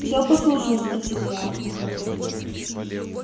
всё послушал спросил я